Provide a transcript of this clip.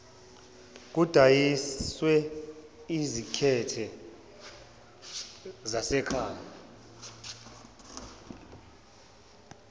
kudayiswe ezimakhethe zasekhaya